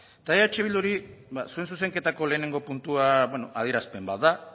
eta eh bilduri zuen zuzenketako lehenengo puntua adierazpen bat da